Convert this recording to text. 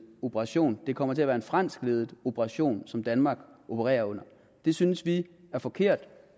operation det kommer til at være en franskledet operation som danmark opererer under det synes vi er forkert vi